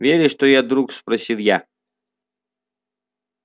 веришь что я друг спросил я